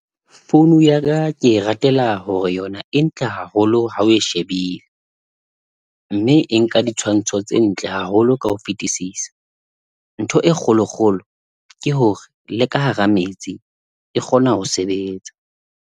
Founu yaka ke e ratela hore yona e ntle haholo ha o e shebile, mme e nka ditshwantsho tse ntle haholo ka ho fetisisa. Ntho e kgolo kgolo ke hore le ka hara metsi e kgona ho sebetsa.